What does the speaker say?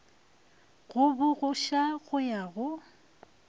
go bokgoša go ya go